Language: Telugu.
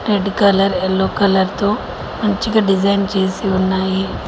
రెడ్డు కలర్ ఎల్లో కలర్ తో మంచిగా డిజైన్ చేసి ఉన్నాయి.